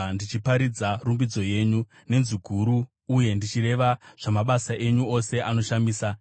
ndichiparidza rumbidzo yenyu nenzwi guru, uye ndichireva zvamabasa enyu ose anoshamisa.